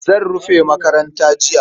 Zan rufe makaranta jiya.